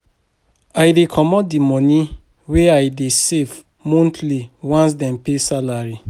I dey comot di moni wey I dey save monthly once dem pay salary.